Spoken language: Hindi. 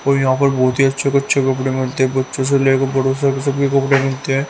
तो यहां पर बहुत ही अच्छे से अच्छे कपड़े मिलते हैं बच्चो से ले कर बड़ों से सब के कपड़े मिलते हैं।